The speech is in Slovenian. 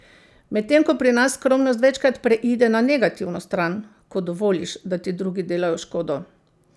Medtem ko pri nas skromnost večkrat preide na negativno stran, ko dovoliš, da ti drugi delajo škodo.